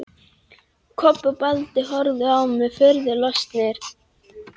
Kobbi og Baddi horfðu á mig furðu lostnir.